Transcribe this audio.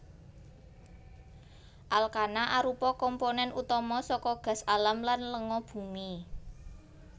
Alkana arupa komponèn utama saka gas alam lan lenga bumi